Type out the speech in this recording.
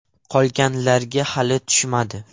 Qolganlarga hali tushmadi.